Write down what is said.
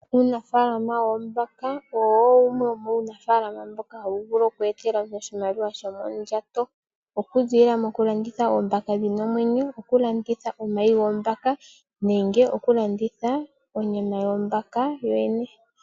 Uunafaalama woombaka owo wumwe womuunafaalama mboka hawu vulu oku etela oshimaliwa shomondjato .okulanditha omahi goombaaka nenge okulanditha onyama yoombaka yoyene